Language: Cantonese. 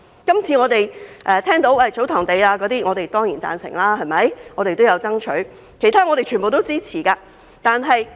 今次談到祖堂地，我當然會贊成，我們也有爭取，我們也支持所有其他建議。